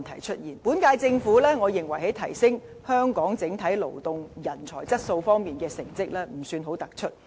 我認為，本屆政府在提升香港整體勞動人才質素方面，成績不算很突出。